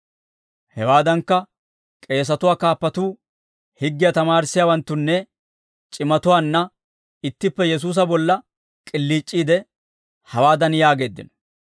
Hewaadankka, k'eesatuwaa kaappatuu higgiyaa tamaarissiyaawanttunnanne c'imatuwaanna ittippe Yesuusa bolla k'iliic'iidde, hawaadan yaageeddino;